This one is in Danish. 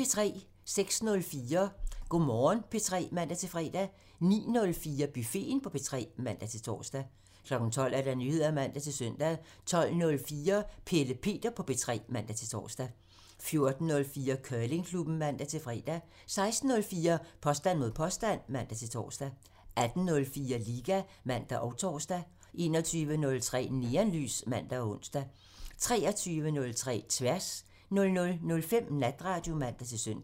06:04: Go' Morgen P3 (man-fre) 09:04: Buffeten på P3 (man-tor) 12:00: Nyheder (man-søn) 12:04: Pelle Peter på P3 (man-tor) 14:04: Curlingklubben (man-fre) 16:04: Påstand mod påstand (man-tor) 18:04: Liga (man og tor) 21:03: Neonlys (man-ons) 23:03: Tværs (man) 00:05: Natradio (man-søn)